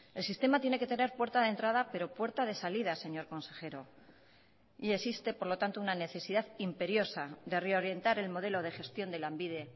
el sistema tiene que tener puerta de entrada pero puerta de salida señor consejero y existe por lo tanto una necesidad imperiosa de reorientar el modelo de gestión de lanbide